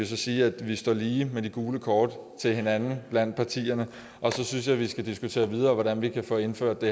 sige at vi står lige med de gule kort til hinanden blandt partierne og så synes jeg at vi skal diskutere videre hvordan vi kan få indført det